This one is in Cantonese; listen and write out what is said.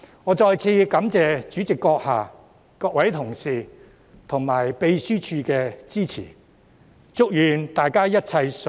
我再次感謝主席閣下、各位同事及秘書處的支持。